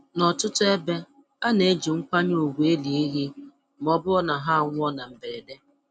N’ọtụtụ ebe, a na-eji nkwanye ùgwù eli ehi ma ọ bụrụ na ha anwụọ na mberede.